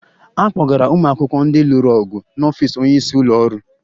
A kpọgara ụmụ akwụkwọ ndị lụrụ ọgụ n'ọfịs onye isi ụlọ ọrụ